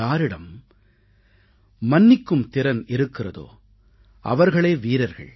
யாரிடம் மன்னிக்கும் திறன் இருக்கிறாதோ அவர்களே வீரர்கள்